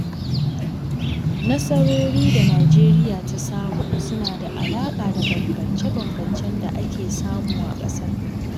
Nasarori da Nijeriya ta samu, suna da alaƙa da bambamce-bambamcen da ake samu a ƙasar.